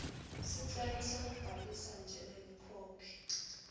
sicelo sekubhalisa njengemkhokhi